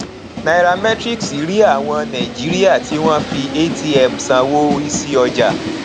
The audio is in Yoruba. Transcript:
nairametrics rí àwọn nàìjíríà tí wọn fi atm sanwó rísí ọjà